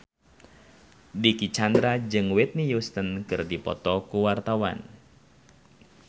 Dicky Chandra jeung Whitney Houston keur dipoto ku wartawan